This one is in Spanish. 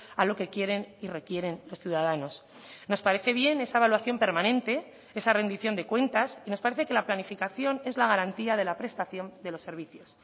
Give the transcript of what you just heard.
a lo que quieren y requieren los ciudadanos nos parece bien esa evaluación permanente esa rendición de cuentas y nos parece que la planificación es la garantía de la prestación de los servicios